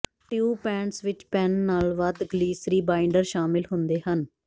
tube paints ਵਿੱਚ pan ਨਾਲੋਂ ਵੱਧ ਗਲੀਸਰੀ ਬਾਈਂਡਰ ਸ਼ਾਮਿਲ ਹੁੰਦੇ ਹਨ